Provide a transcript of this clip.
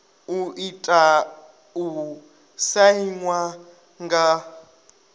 i tea u sainwa nga